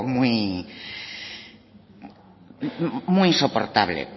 muy insoportable